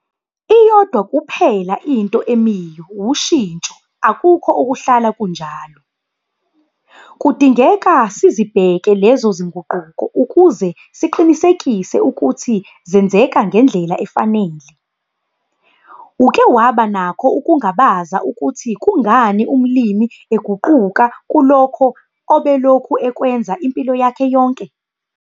Iyodwa kuphela into emiyo wushintsho - akukho okuhlala kunjalo. Kudingeka sizibheke lezo zinguquko ukuze siqinisekise ukuthi zenzeka ngendlela efanele. Uke waba nakho ukumangala ukuthi kungani umlimi eguquka kulokho obelokhu ekwenza empilo yakhe yonke?